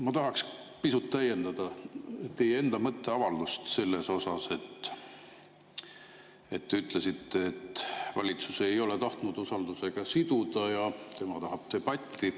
Ma tahaks pisut täiendada teie enda mõtteavaldust, kui te ütlesite, et valitsus ei ole tahtnud usaldus siduda ja tema tahab debatti.